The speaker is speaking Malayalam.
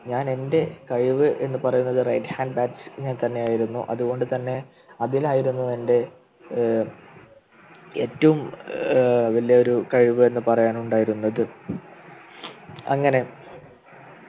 ഞാനെൻ്റെ കഴിവ് എന്ന് പറയുന്നത് Right hand batsman തന്നെയായിരുന്നു അതുകൊണ്ടുതന്നെ അതിനായിരുന്നു എൻ്റെ ഏർ ഏറ്റവും ഏർ വലിയൊരു കഴിവ് എന്ന് പറയാൻ ഉണ്ടായിരുന്നത് അങ്ങനെ